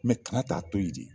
kala t'a to yen de